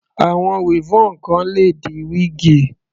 Àwọn weavon kan le di wíígì.